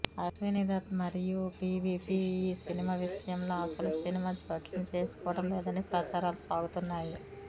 అశ్వినీ దత్ మరియు పీవీపీ ఈ సినిమా విషయంలో అసలు సినిమా జోక్యం చేసుకోవడం లేదని ప్రచారాలు సాగుతున్నాయి